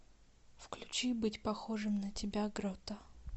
включи быть похожим на тебя грота